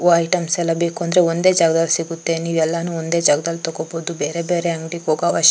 ವ ಐಟೆಮ್ಸ ಎಲ್ಲ ಬೇಕುಂದ್ರೆ ಒಂದೇ ಜಾಗದಲ್ಲಿ ಸಿಗುತ್ತೆ ನೀವು ಎಲ್ಲಾನು ಒಂದೇ ಜಾಗದಲ್ಲಿ ತಕೋಬೋದು ಬೇರೆ ಬೇರೆ ಅಂಗಡಿಗೆ ಹೋಗೋ ಅವಶ್ಯ --